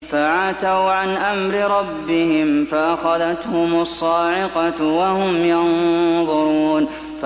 فَعَتَوْا عَنْ أَمْرِ رَبِّهِمْ فَأَخَذَتْهُمُ الصَّاعِقَةُ وَهُمْ يَنظُرُونَ